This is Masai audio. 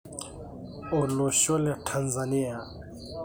Olosho le Tanzania